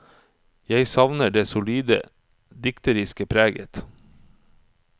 Jeg savner det solide dikteriske preget.